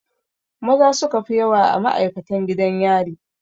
Maza suka fi yawa a ma'aikatan gidan yari.